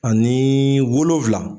Ani wolonfila